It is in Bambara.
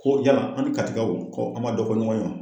Ko yala an ni katikɛw ko an ma dɔ fɔ ɲɔgɔn ye wa?